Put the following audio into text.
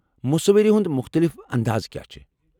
مصوری ہنٛد مختٔلف انٛداز کیا چھ؟